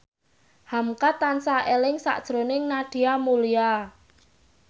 hamka tansah eling sakjroning Nadia Mulya